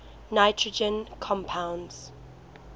nitrogen compounds